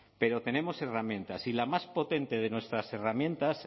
pero tenemos herramientas y la más potente de nuestras herramientas